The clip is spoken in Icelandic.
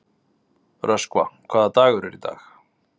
Röskva, hvaða dagur er í dag?